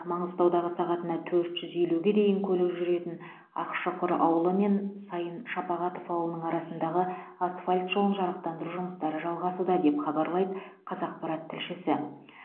маңғыстаудағы сағатына төрт жүз елуге дейін көлік жүретін ақшұқыр ауылы мен сайын шапағатов ауылының арасындағы асфальт жолын жарықтандыру жұмыстары жалғасуда деп хабарлайды қазақпарат тілшісі